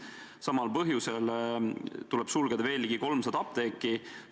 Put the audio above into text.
Samal põhjusel tuleb sulgeda veel ligi 300 apteeki.